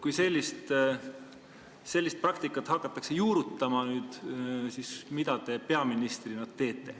Kui sellist praktikat hakatakse nüüd juurutama, siis mida te peaministrina teete?